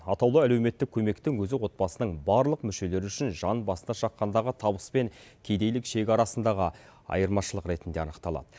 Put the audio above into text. атаулы әлеуметтік көмектің өзі отбасының барлық мүшелері үшін жан басына шаққандағы табыс пен кедейлік шегі арасындағы айырмашылық ретінде анықталады